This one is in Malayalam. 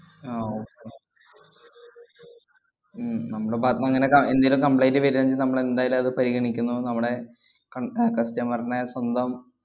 ആ okay ഉം നമ്മുടെ ഭാഗത്തൂന്ന് അങ്ങനെ ക~ എന്തേലും complaint വരേണേ നമ്മളെന്തായാലും അത്ക്കു പരിഗണിക്കുന്നു. നമ്മുടെ കണ്‍~ അഹ് customer നെ സ്വന്തം